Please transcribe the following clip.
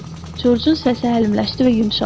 Corcun səsi əlimləşdi və yumşaldı.